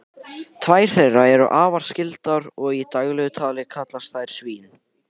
tvær þeirra eru afar skyldar og í daglegu tali kallast þær svín